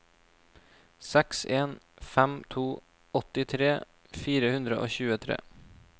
seks en fem to åttitre fire hundre og tjuetre